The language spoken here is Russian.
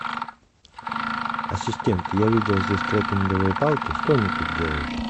ассистент я видел здесь трекинговые палки что они тут делают